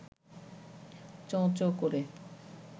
চোঁ-চোঁ করে